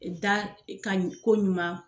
da ka ɲi koɲuman